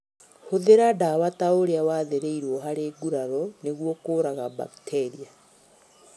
Hũthĩra ndawa taũrĩa wathĩrĩirwo harĩ nguraro nĩguo kũraga mbakteria